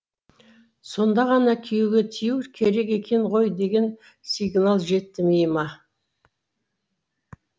сонда ғана күйеуге тию керек екен ғой деген сигнал жетті миыма